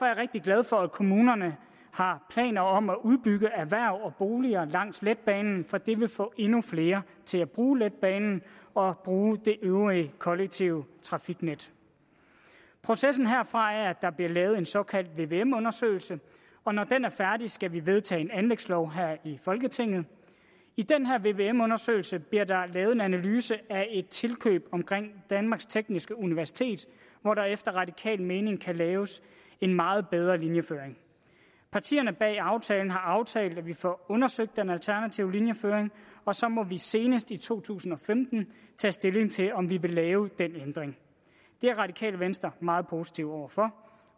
jeg rigtig glad for at kommunerne har planer om at udbygge erhverv og boliger langs letbanen for det vil få endnu flere til at bruge letbanen og bruge det øvrige kollektive trafiknet processen herfra er at der bliver lavet en såkaldt vvm undersøgelse og når den er færdig skal vi vedtage en anlægslov her i folketinget i den her vvm undersøgelse bliver der lavet en analyse af et tilkøb omkring danmarks tekniske universitet hvor der efter radikal mening kan laves en meget bedre linjeføring partierne bag aftalen har aftalt at vi får undersøgt den alternative linjeføring og så må vi senest i to tusind og femten tage stilling til om vi vil lave den ændring det er radikale venstre meget positive over for